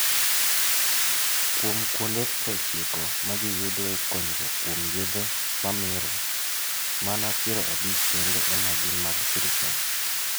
Kuom kuonde 90 ma ji yudoe konyruok kuom yedhe mamero, mana 50 kende ema gin mag sirkal.